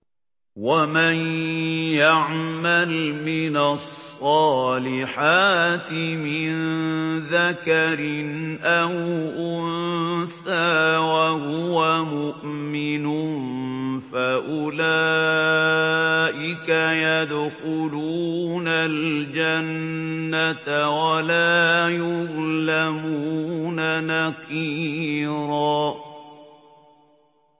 وَمَن يَعْمَلْ مِنَ الصَّالِحَاتِ مِن ذَكَرٍ أَوْ أُنثَىٰ وَهُوَ مُؤْمِنٌ فَأُولَٰئِكَ يَدْخُلُونَ الْجَنَّةَ وَلَا يُظْلَمُونَ نَقِيرًا